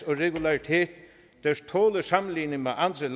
og regularitet der tåler sammenligning med andre